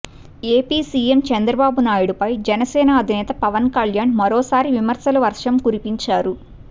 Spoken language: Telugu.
ఏపీ సీఎం చంద్రబాబు నాయుడిపై జనసేన అధినేత పవన్ కళ్యాణ్ మరోసారి విమర్శల వర్షం కురిపించారు